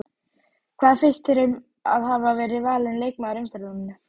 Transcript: Hvað finnst þér um að hafa verið valin leikmaður umferðarinnar?